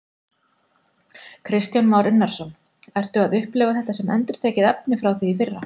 Kristján Már Unnarsson: Ertu að upplifa þetta sem endurtekið efni frá því í fyrra?